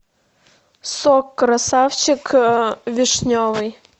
сок красавчик вишневый